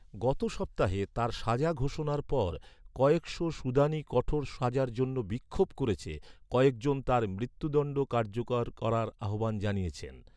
গত সপ্তাহে তার সাজা ঘোষণার পর, কয়েকশ সুদানী কঠোর সাজার জন্য বিক্ষোভ করেছে, কয়েক জন তার মৃত্যুদণ্ড কার্যকর করার আহ্বান জানিয়েছেন।